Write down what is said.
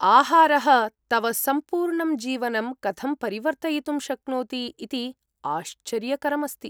आहारः तव सम्पूर्णं जीवनं कथं परिवर्तयितुं शक्नोति इति आश्चर्यकरम्‌ अस्ति।